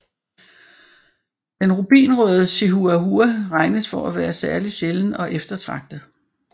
Den rubinrøde chihuahua regnes for at være særligt sjælden og eftertragtet